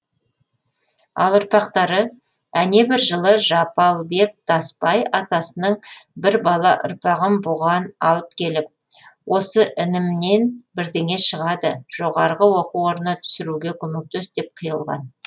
ал ұрпақтары әнебір жылы жапалбек тасбай атасының бір бала ұрпағын бұған алып келіп осы інімнен бірдеңе шығады жоғарғы оқу орнына түсіруге көмектес деп қиылған